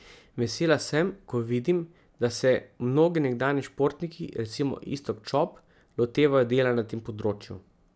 Vesela sem, ko vidim, da se mnogi nekdanji športniki, recimo Iztok Čop, lotevajo dela na tem področju.